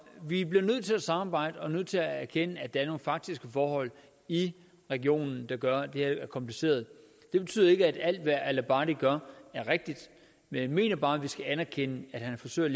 vi bliver nødt til at samarbejde og nødt til at erkende at der er nogle faktiske forhold i regionen der gør at det her er kompliceret det betyder ikke at alt hvad al abadi gør er rigtigt men jeg mener bare vi skal anerkende at han forsøger at